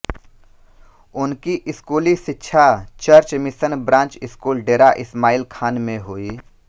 उनकी स्कूली षिक्षा church mission branch school Dera Ismail Khan में हुई